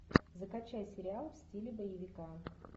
закачай сериал в стиле боевика